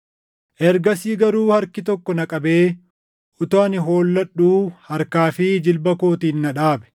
Ergasii garuu harki tokko na qabee utuu ani holladhuu harkaa fi jilba kootiin na dhaabe.